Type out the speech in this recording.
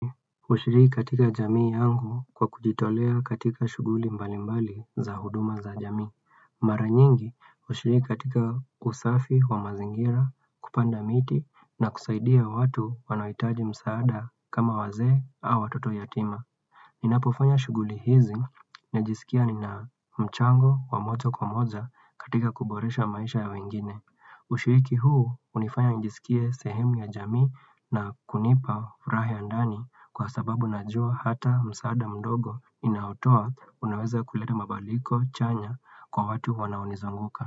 Kushiri katika jamii yangu kwa kujitolea katika shughuli mbali mbali za huduma za jamii. Mara nyingi, kushiriki katika usafi wa mazingira, kupanda miti na kusaidia watu wanaohitaji msaada kama wazee au watoto yatima. Ninapofanya shughuli hizi, najisikia nina mchango wa moja kwa moja katika kuboresha maisha ya wengine. Ushiriki huu hunifanya nijisikie sehemu ya jamii na kunipa furaha ya ndani kwa sababu najua hata msaada mdogo ninaotoa unaweza kuleta mabadiliko chanya kwa watu wanaonizunguka.